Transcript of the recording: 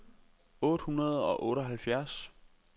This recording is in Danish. otte hundrede og otteoghalvfjerds